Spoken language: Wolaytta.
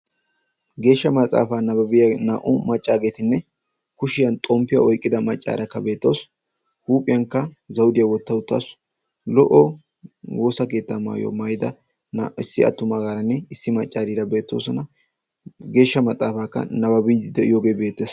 Geeshsha maxafa naababbiya naa'u maccattine zayttiya oyqqidda macatti beetosonna. Geeshsha maxafaykka beettes.